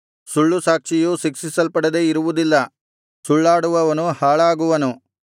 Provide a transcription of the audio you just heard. ಸುಳ್ಳುಸಾಕ್ಷಿಯು ಶಿಕ್ಷಿಸಲ್ಪಡದೆ ಇರುವುದಿಲ್ಲ ಸುಳ್ಳಾಡುವವನು ಹಾಳಾಗುವನು